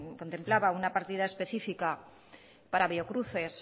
contemplaba una partida específica para biocruces